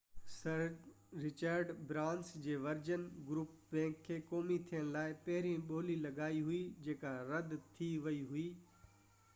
سر Richard Branson جي Virgin group bank کي قومي ٿيڻ کان پهرين ٻولي لڳائي هئي جيڪا رد ٿي ويئي هئي